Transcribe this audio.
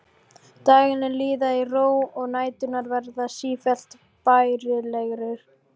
Dagarnir líða í ró og næturnar verða sífellt bærilegri.